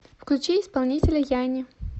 включи исполнителя янни